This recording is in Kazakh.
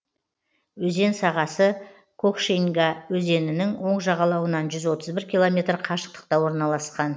өзен сағасы кокшеньга өзенінің оң жағалауынан жүз отыз бір километр қашықтықта орналасқан